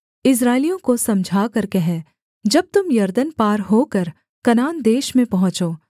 इस्राएलियों को समझाकर कह जब तुम यरदन पार होकर कनान देश में पहुँचो